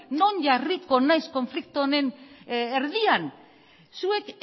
non jarriko naiz konflikto honen erdian zuek